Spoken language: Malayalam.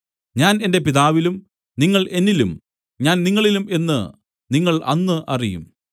ഞാൻ എന്റെ പിതാവിലും നിങ്ങൾ എന്നിലും ഞാൻ നിങ്ങളിലും എന്നു നിങ്ങൾ അന്ന് അറിയും